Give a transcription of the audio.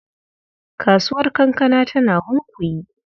Kasuwar kankana tana Hunkuyi.